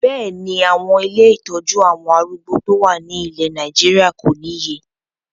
Bẹ́ẹ̀ni, àwọn ilé ìtọ́jú àwọn arúgbó tó wà ní ilẹ̀ Nàìjíríà kò níye